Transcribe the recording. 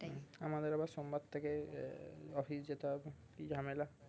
আমাদের আবার সোমবার থেকে আহ office যেতে হবে কি ঝ্যামেলা